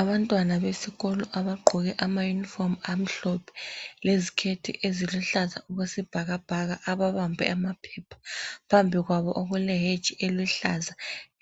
Abantwana besikolo abagqoke amayunifomu amhlophe leziketi eziluhlaza okwesibhakabhaka ababambe amaphepha. Phambi kwabo okule hedge eluhlaza